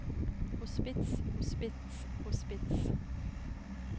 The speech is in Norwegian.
hospits hospits hospits